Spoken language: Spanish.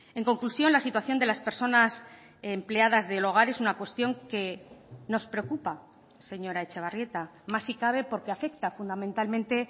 en conclusión la situación de las personas empleadas del hogar es una cuestión que nos preocupa señora etxebarrieta más si cabe porque afecta fundamentalmente